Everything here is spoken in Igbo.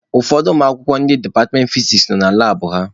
Ụfọdụ ụmụakwụkwọ ndị departmentị fiziks nọ na labụ ha.